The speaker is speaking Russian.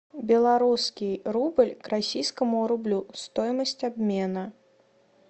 белорусский рубль к российскому рублю стоимость обмена